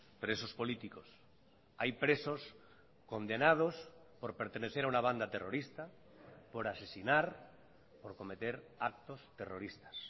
presos políticos hay presos condenados por pertenecer a una banda terrorista por asesinar por cometer actos terroristas